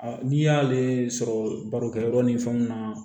n'i y'ale sɔrɔ barokɛ yɔrɔ ni fɛnw na